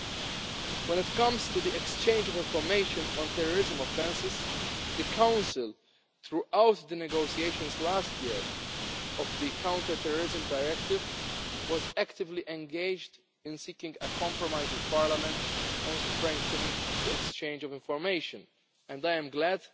Regarding the exchange of information on terrorism offences, the Council, throughout the negotiations last year on the Counter-Terrorism Directive, was actively engaged in seeking a compromise with Parliament on strengthening the exchange of information. I am glad